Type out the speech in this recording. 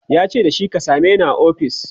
yace da shi " ka sameni a ofis!"